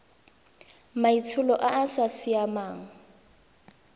maitsholo a a sa siamang